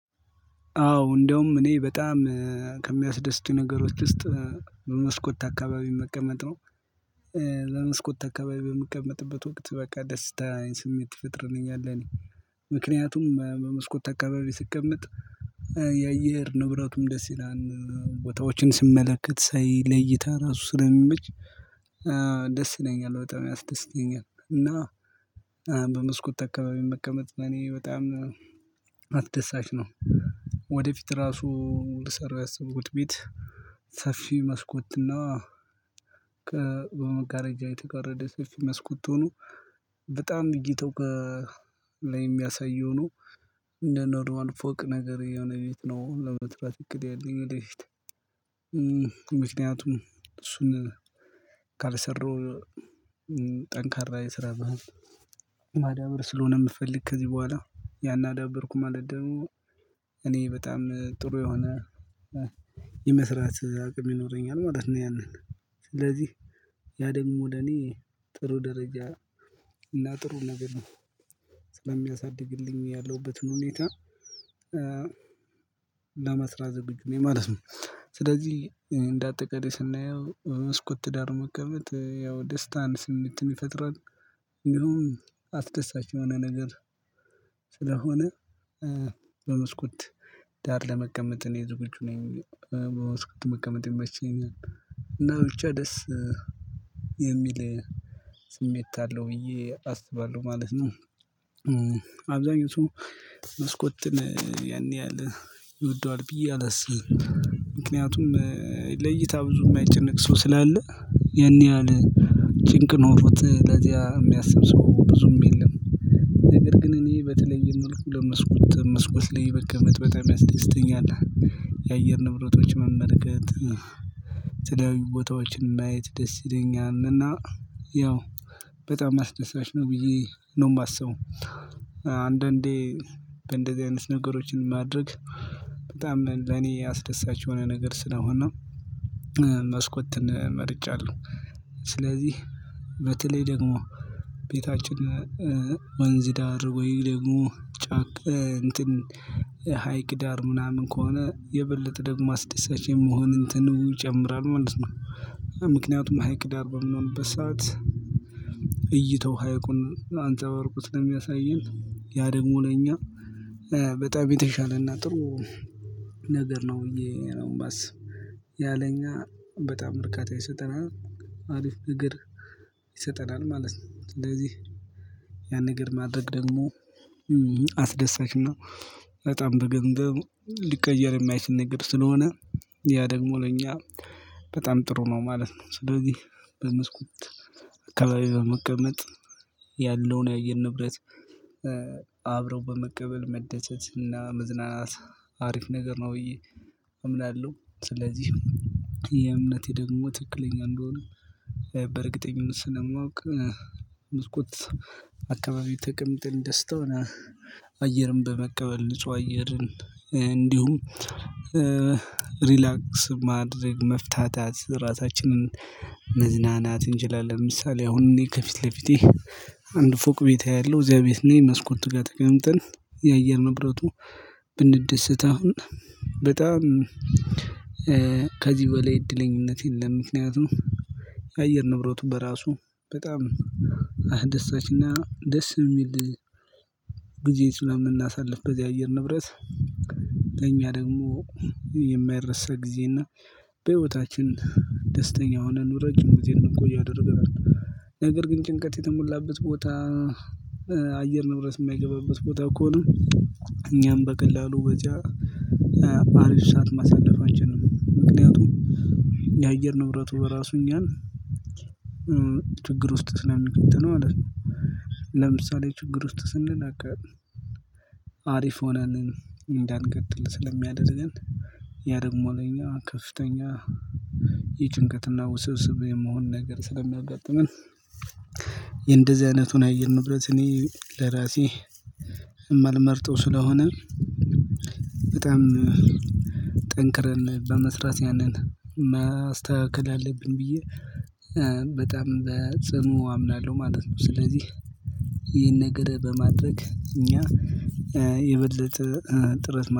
አዎ እንደውም እኔ በጣም ከሚያስደስቱኝ ነገሮች ውስጥ በመስኮት አካባቢ መቀመጥ ነው። ለመስኮት አካባቢ በምቀመጥበት ወቅት በቃ ደስታ ስሜት ይፈጥርልኛል። እኔ ምክንያቱም በመስኮት አካባቢ ስቀመጥ የአየር ንብረቱም ደስ ይላል። ቦታዎችን ስመለከት ሳይ ለይታ ራሱ ስለሚመች ደስ ይለኛል በጣም ያስደስተኛል። እና በመስኮት አካባቢ መቀመጥ ለኔ በጣም አስደሳች ነው። ወደፊት ራሱ ልሰራው ያሰብኩት ቤት ሰፊ መስኮት እና የተቀረደ ሰፊ መስኮት ሆኖ በጣም ብይታው ላይ የሚያሳየው ነው እንደ ኖርዋን ፎቅ ነገር የሆነ ቤት ነው ለመጥራት እቅድ ያለኝ ወደፊት። ምክንያቱም እሱን ካልሰራው ጠንካራ የስራ ባህል ማዳበር ስለሆነ የምፈልግ ከዚህ በኋላ ያን አዳበርኩ ማለት ደግሞ እኔ በጣም ጥሩ የሆነ የመስራት አቅም ይኖረኛል ማለት ነው። ያንን ስለዚህ ያ ደግሞ ለኔ ጥሩ ደረጃ እና ጥሩ ነገር ነው። ስለሚያሳድግልኝ ያለሁበትን ሁኔታ ለመስራት ዝግጁ ነኝ ማለት ነው። ስለዚህ እንደ አጠቃላይ ስናየው በመስኮት ዳር መቀመጥ ያው ደስታን ስሜትን ይፈጥራል። እንዲሁም አስደሳች የሆነ ነገር ስለሆነ በመስኮት ዳር ለመቀመጥ እኔ ዝግጁ ነኝ። በመስኮት መቀመጥ ይመቸኛል እና ብቻ ደስ የሚል ስሜት አለው ብዬ አስባለሁ ማለት ነው። አብዛኞቹ መስኮትን ያኔ ያህል ይወደዋል ብዬ አላስብም። ምክንያቱም ለእይታ ብዙ የማይጨነቅ ሰው ስላለ ያን ይሀል ጭንቅ ኖሮት ለዚያ የሚያስብ ሰው ብዙም የለም። ነገር ግን እኔ በተለየ መልኩ ለመስኮት መስኮት ላይ መቀመጥ በጣም ያስደስተኛል። የአየር ንብረቶች መመልከት የተለያዩ ቦታዎችን ማየት ደስ ይለኛልና እና ያው በጣም አስደሳች ነው ብዬ ነው የማስበው። አንዳንዴ እንደዚህ አይነት ነገሮችን ማድረግ በጣም ለኔ አስደሳች የሆነ ነገር ስለሆነ መስኮትን መርጫለሁ። ስለዚህ በተለይ ደግሞ ቤታችን ወንዝ ዳር ወይ ደግሞ ጫክ እንትን ሀይቅ ዳር ምናምን ከሆነ የበለጠ ደግሞ አስደሳች የመሆን እንትን ይጨምራል ማለት ነው። ምክንያቱም ሀይቅ ዳር በሚሆንበት ሰዓት እይታው ሃይቁን አንጸባርቆ ስለሚያሳየን ያ ደግሞ ለኛ በጣም የተሻለና ጥሩ ነገር ነው ብዬ ነው ማስብ ያለ እኛ በጣም እርካታ ይሰጠናል። አሪፍ ነገር ይሰጠናል ማለት ነው። ስለዚህ ያን ነገር ማድረግ ደግሞ አስደሳች እና በጣም በገንዘብ ሊቀየር የማይችል ነገር ስለሆነ ያ ደግሞ ለኛ በጣም ጥሩ ነው ማለት ነው። ስለዚህ በመስኮት አካባቢ በመቀመጥ ያለውን የአየር ንብረት አብረው በመቀበል መደሰት እና መዝናናት አሪፍ ነገር ነው ብዬ አምናለሁ። ስለዚህ የእምነቴ ደግሞ ትክክለኛ እንደሆነ በእርግጠኝነት ስለማውቅ ብስኩት አካባቢ ተቀምጠን ደስታውን አየርን በመቀበል ንጹህ አየርን እንዲሁም ሪላክስ ማድረግ መፍታታት ራሳችንን መዝናናት እንችላለን። ምሳሌ አሁን እኔ ከፊት ለፊቴ አንድ ፎቅ ቤት አያለሁ እዚያ ቤት ነኝ መስኮት ጋር ተቀምጠን የአየር ንብረቱ ብንደሰት አሁን በጣም ከዚህ በላይ እድለኝነት የለም። ምክንያቱም የአየር ንብረቱ በራሱ በጣም አስደሳችና ደስ የሚል ጊዜ ስለምናሳልፍ በዚህ አየር ንብረት በእኛ ደግሞ የማይረሳ ጊዜና በህይወታችን ደስተኛ የሆነን ረጅም ጊዜን እንድይቆይ ያደርገናል። ነገር ግን ጭንቀት የተሞላበት ቦታ አየር ንብረት የማይገባበት ቦታ ከሆነ እኛም በቀላሉ በዚያ አሪፍ ሰዓት ማሳለፋችን ነው ምክንያቱም የአየር ንብረቱ በራሱ እኛን ችግር ውስጥ ስለሚከተን ማለት ነው። ለምሳሌ ችግር ውስጥ ስንል በቃ አሪፍ ሆነን እንዳንቀጥል ስለሚያደርገን ያ ደግሞ ለኛ ከፍተኛ የጭንቀትና ውስብስብ የመሆን ነገር ስለሚያጋጥመን። የንደዚህ አይነቱን አየን ንብረት እኔ ለራሴ የማልመርጠው ስለሆነ በጣም ጠንክረን በመስራት ያንን ማስተካከል አለብን ብዬ በጣም በጽኑ አምናለሁ ማለት ነው። ስለዚህ ይህን ነገር በማድረግ እኛ የበለጠ ጥረት